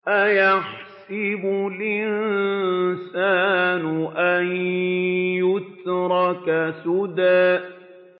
أَيَحْسَبُ الْإِنسَانُ أَن يُتْرَكَ سُدًى